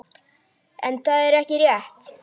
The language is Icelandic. En það er ekki rétt.